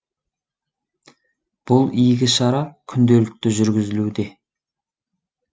бұл игі шара күнделікті жүргізілуде